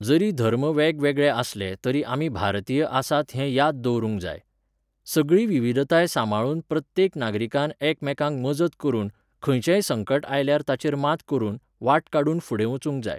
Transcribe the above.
जरी धर्म वेगवेगळे आसले तरी आमी भारतीय आसात हें याद दवरूंक जाय. सगळी विविधताय साबंळून प्रत्येक नागरिकान एकमेकांक मजत करून, खंयचेय संकट आयल्यार ताचेर मात करून, वाट काडून फुडें वचूंक जाय